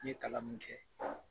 N ye kalan min kɛ